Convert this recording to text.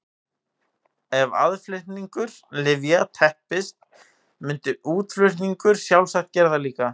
Ef aðflutningur lyfja teppist myndi útflutningur sjálfsagt gera það líka.